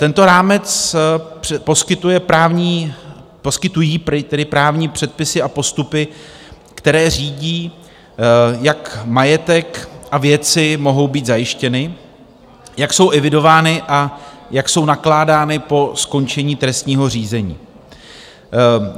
Tento rámec poskytují právní předpisy a postupy, které řídí, jak majetek a věci mohou být zajištěny, jak jsou evidovány a jak jsou nakládány po skončení trestního řízení.